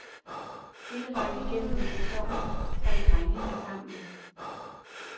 Hele vejen igennem sæsonnen holdt drengene sammen.